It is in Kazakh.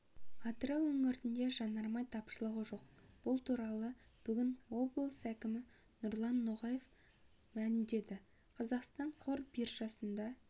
атырау өңірінде жанармай тапшылығы жоқ бұл туралы бүгін облыс әкімі нұрлан ноғаев мәлімдеді қазақстан қор биржасында